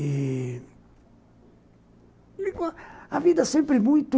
Ih... a vida sempre muito...